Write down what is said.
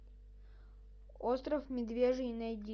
остров медвежий найди